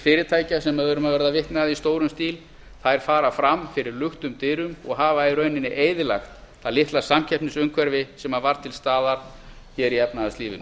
fyrirtækja sem við erum að verða vitni að í stórum stíl þær fara fram fyrir luktum dyrum og hafa í rauninni eyðilagt það litla samkeppnisumhverfi sem var til staðar hér í efnahagslífinu